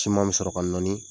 Ciman be sɔrɔ ka nɔɔni